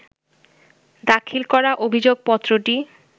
দাখিল করা অভিযোগপত্রটি